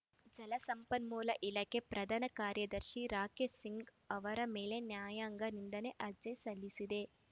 ಜಲ ಸಂಪನ್ಮೂಲ ಇಲಾಖೆ ಪ್ರಧಾನ ಕಾರ್ಯದರ್ಶಿ ರಾಕೇಶ್‌ ಸಿಂಗ್‌ ಅವರ ಮೇಲೆ ನ್ಯಾಯಾಂಗ ನಿಂದನೆ ಅರ್ಜಿ ಸಲ್ಲಿಸಿದೆ